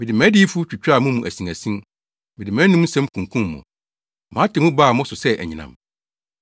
Mede mʼadiyifo twitwaa mo mu asinasin, mede mʼanom nsɛm kunkum mo; mʼatemmu baa mo so sɛ anyinam.